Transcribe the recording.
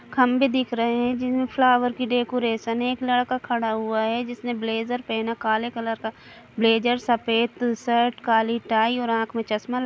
खम्भे दिख रहे है जिसमे फ्लावर की डेकोरेशन है एक लड़का खड़ा हुआ है जिसने ब्लेज़र पहना काले कलर का ब्लेज़र सफेद शर्ट काली टाई और आँख में चश्मा ल--